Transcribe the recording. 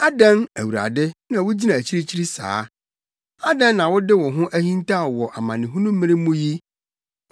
Adɛn, Awurade, na wugyina akyirikyiri saa? Adɛn na wode wo ho ahintaw wɔ amanehunu mmere mu yi?